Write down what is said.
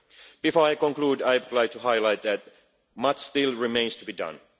so far. Before I conclude, I would like to highlight that much still remains to